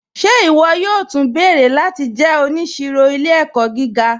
Ṣe iwọ yóò tú nbẹ̀rẹ̀ láti jẹ́ oníṣìrò ilẹ̀-ẹ̀kọ̀ gíga?